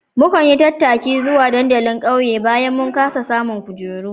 Muka yi tattaki zuwa dandalin ƙauye bayan mun kasa samun kujeru